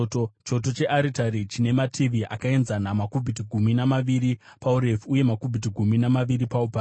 Choto chearitari chine mativi akaenzana, makubhiti gumi namaviri paurefu uye makubhiti gumi namaviri paupamhi.